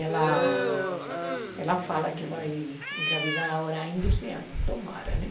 Ela ela fala que vai engravidar agora ainda esse ano, tomara, né?